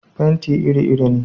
Fenti iri iri ne.